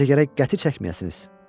Məncə gərək qəti çəkməyəsiniz.